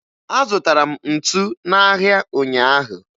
Azụtara m ntu n'ahịa ụnyaahụ